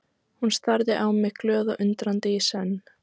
Hún starði á mig glöð og undrandi í senn.